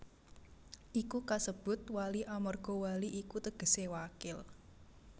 Iku kasebut Wali amarga wali iku tegese Wakil